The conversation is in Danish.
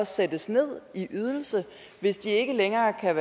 sættes ned i ydelse hvis de ikke længere kan